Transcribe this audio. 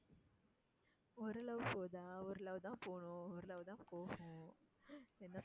ஒரு love போதா? ஒரு love தான் போகணும். ஒரு love தான் போகும்.